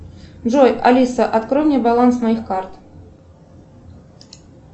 джой алиса открой мне баланс моих карт